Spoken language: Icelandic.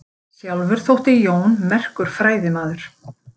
Sjálfur þótti Jón merkur fræðimaður.